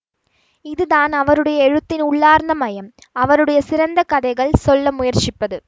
இது தான் அவருடைய எழுத்தின் உள்ளார்ந்த மையம் அவருடைய சிறந்த கதைகள் சொல்ல முயற்சிப்பது